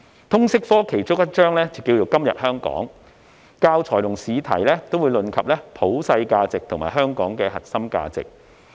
通識科其中一章是"今日香港"，教材和試題也會論及普世價值和香港的核心價值。